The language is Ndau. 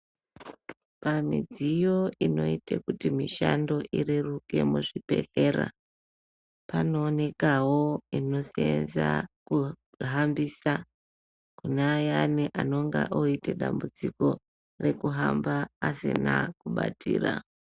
Pamidziyo inoite kuti mishando ireruke muzvibhedhlera, panoonekawo inoseenza kuhambisa kune aya anenge oite dambudziko rekuhamba asina kubatira.